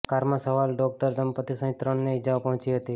કારમાં સવાર ડોકટર દંપતિ સહિત ત્રણને ઇજાઓ પહોંચી હતી